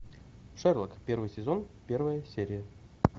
шерлок первый сезон первая серия